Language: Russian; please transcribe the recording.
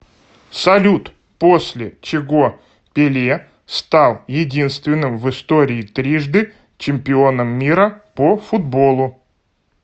салют после чего пеле стал единственным в истории трижды чемпионом мира по футболу